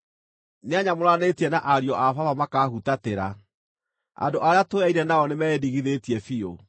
“Nĩanyamũranĩtie na ariũ a baba makaahutatĩra; andũ arĩa tũyaine nao nĩmeĩndigithĩtie biũ.